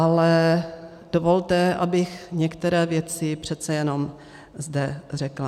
Ale dovolte, abych některé věci přece jenom zde řekla.